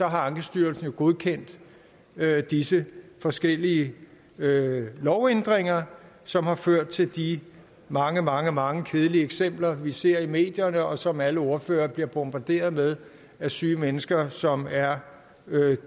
har ankestyrelsen jo godkendt disse forskellige lovændringer som har ført til de mange mange mange kedelige eksempler vi ser i medierne og som alle ordførere bliver bombarderet med syge mennesker som er